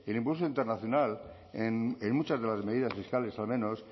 impulso internacional en muchas de las medidas fiscales al menos